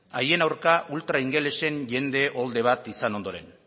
haien aurka ultra ingelesen jende uholde bat izan ondoren